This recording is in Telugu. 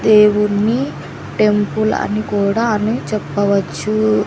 దేవుని టెంపుల్ అని కూడా అని చెప్పవచ్చు.